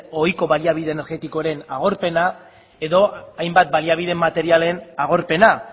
ohiko baliabide energetikoen agorpena edo hainbat baliabide materialen agorpena